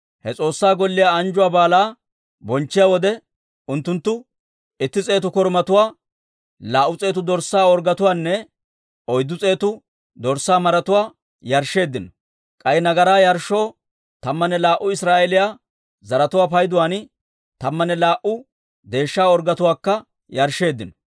He S'oossaa Golliyaa anjjuwaa baalaa bonchchiyaa wode, unttunttu itti s'eetu korumatuwaa, laa"u s'eetu dorssaa orggetuwaanne oyddu s'eetu dorssaa maratuwaa yarshsheeddino; k'ay nagaraa yarshshoo tammanne laa"u Israa'eeliyaa zaratuwaa payduwaan tammanne laa"u deeshsha orggetuwaakka yarshsheeddino.